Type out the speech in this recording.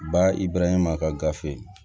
Ba i b'a ɲɛma a ka gafe